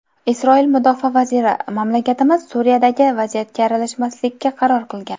Isroil mudofaa vaziri: Mamlakatimiz Suriyadagi vaziyatga aralashmaslikka qaror qilgan.